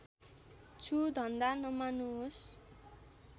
छु धन्दा नमान्नुहोस्